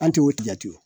An tɛ o tigɛ ten wo